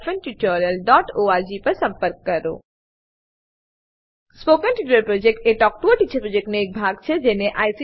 spoken tutorial project talk to a teacher પ્રોજેક્ટનો એક ભાગ છે